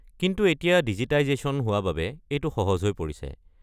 কিন্তু এতিয়া ডিজিটাইজেশ্যন হোৱা বাবে এইটো সহজ হৈ পৰিছে।